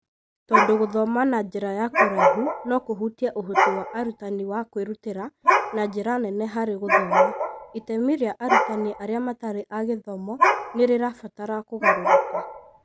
Tondũ gũthoma na njĩra ya kũraihu no kũhutie ũhoti wa arutani wa kwĩrutĩra na njĩra nene harĩ gũthoma, itemi rĩa arutani arĩa matarĩ a gĩthomo nĩ rĩrabatara kũgarũrũka.